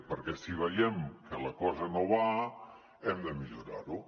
perquè si veiem que la cosa no va hem de millorar ho